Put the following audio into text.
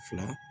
Fila